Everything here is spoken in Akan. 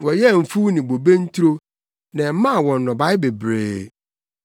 Wɔyɛɛ mfuw ne bobe nturo na ɛmaa wɔn nnɔbae bebree.